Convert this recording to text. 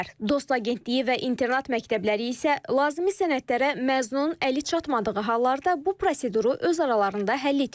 DOST Agentliyi və internat məktəbləri isə lazımi sənədlərə məzun əli çatmadığı hallarda bu proseduru öz aralarında həll etmirlər.